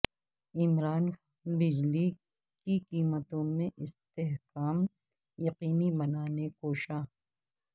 عمران خان بجلی کی قیمتوں میں استحکام یقینی بنانے کوشاں